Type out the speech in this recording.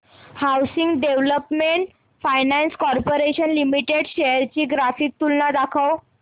housing development finance corporation limited shares ची graphical तुलना दाखव